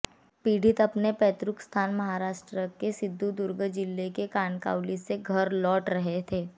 पीड़ित अपने पैतृक स्थान महाराष्ट्र के सिंधुदुर्ग जिले के कनकावली से घर लौट रहे थे